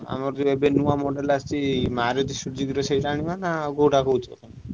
ଆମର ଯିଏ ଏବେ ନୂଆ model ଆସିଛି Maruti Suzuki ର ସେଇଟା ଆଣିବ ନାଁ କୋଉଟା କହୁଛ ତମେ?